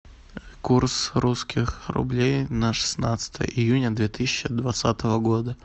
курс русских рублей на шестнадцатое июня две тысячи двадцатого года